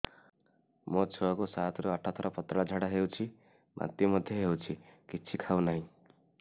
ମୋ ଛୁଆ କୁ ସାତ ରୁ ଆଠ ଥର ପତଳା ଝାଡା ହେଉଛି ବାନ୍ତି ମଧ୍ୟ୍ୟ ହେଉଛି କିଛି ଖାଉ ନାହିଁ